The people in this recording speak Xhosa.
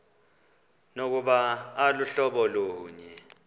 nokuba aluhlobo lunye